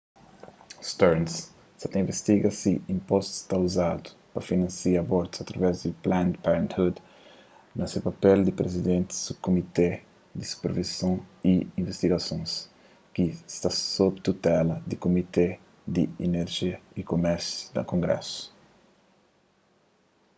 stearns sa ta invistiga si inpostus ta uzadu pa finansia abortus através di planned parenthood na se papel di prizidenti di subkumité di supervison y invistigasons ki sta sobi tutela di kumité di inerja y kumérsio da kongrésu